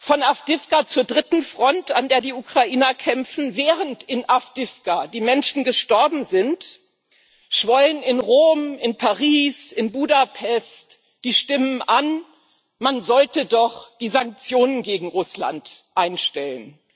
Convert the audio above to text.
Von Awdijiwka zur dritten Front, an der die Ukrainer kämpfen Während in Awdijiwka die Menschen gestorben sind, schwollen in Rom, in Paris, in Budapest die Stimmen an, man sollte doch die Sanktionen gegen Russland einstellen.